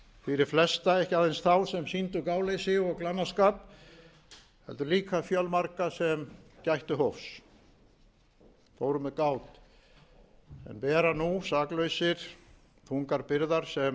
fyrir flesta ekki aðeins þá sem sýndu gáleysi eða glannaskap heldur líka fjölmarga sem gættu hófs fóru með gát en bera nú saklausir þungar byrðar sem